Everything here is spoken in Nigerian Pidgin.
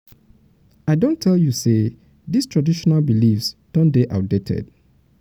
i don tell you sey dis traditional dis traditional beliefs don dey outdated.